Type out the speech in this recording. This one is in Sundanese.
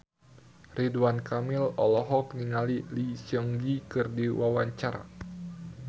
Ridwan Kamil olohok ningali Lee Seung Gi keur diwawancara